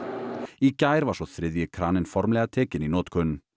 í gær var svo þriðji kraninn formlega tekinn í notkun